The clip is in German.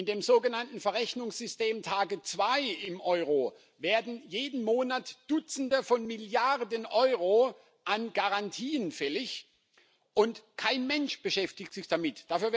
In dem sogenannten Verrechnungssystem TARGET2 im Euro werden jeden Monat Dutzende von Milliarden Euro an Garantien fällig, und kein Mensch beschäftigt sich damit.